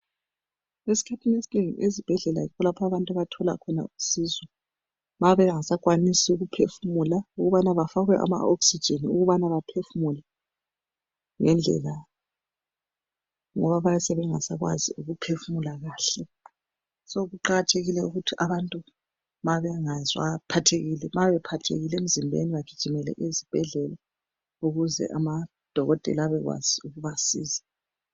Esikhathini esinengi ezibhedlela yikho abantu abathola khona usizo mabenga sakwanisi ukuphefumula ukubana bafakwe ama oxigini ukubana baphefumule ngendlela ngoba bayabe bengasakwazi ukuphefumula kahle. kuqakathekile ukuthi abantu ma bengezwa bephathekile emzimbeni bagimele ezibhedlela ukuze amadokotela abekwazi ukubasiza.